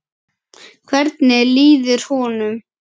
Hvernig líður honum?